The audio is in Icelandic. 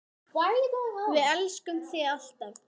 Við elskum þig alltaf.